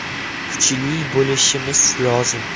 Kuchli bo‘lishimiz lozim.